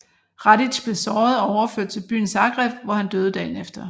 Radić blev såret og overført til byen Zagreb hvor han døde dagen efter